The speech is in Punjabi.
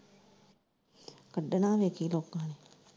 ਕੱਢਣਾ ਵੇਖੀ ਲੋਕਾਂ ਨੇ।